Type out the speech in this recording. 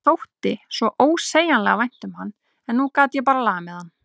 Mér þótti svo ósegjanlega vænt um hann en nú gat ég bara lamið hann.